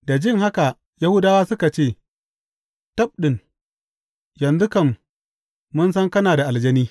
Da jin haka Yahudawa suka ce, Tabɗi, yanzu kam mun san kana da aljani!